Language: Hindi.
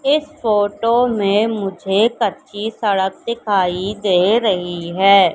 इस फोटो में मुझे कच्ची सड़क दिखाई दे रही है।